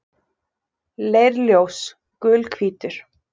Leirljós: Gulhvítur.